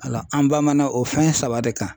Ala an bamana o fɛn saba de kan.